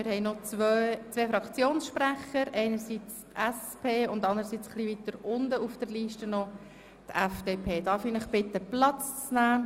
Wir haben noch zwei Fraktionssprecher, einerseits seitens der SP-JUSO-PSA- und andererseits, etwas weiter unten auf der Liste, seitens der FDP-Fraktion.